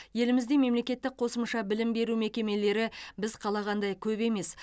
елімізде мемлекеттік қосымша білім беру мекемелері біз қалағандай көп емес